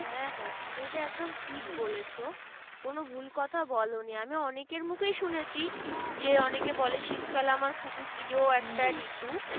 হ্যাঁ হ্যাঁ তুমি এইটা ঠিক বলেছ, কোনো ভুল কথা বোলোনি। আমি অনেকের মুখে শুনেছি যে, অনেকে বলে শীতকাল আমার খুবই প্রিয় একটা ঋতু।